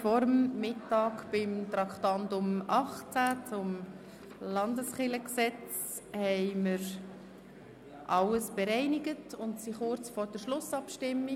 Vor der Mittagspause haben wir unter Traktandum 18, alles zum Gesetz über die bernischen Landeskirchen (Landeskirchengesetz, LKG) bereinigt und sind nun kurz vor der Schlussabstimmung.